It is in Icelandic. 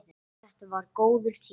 Þetta var góður tími.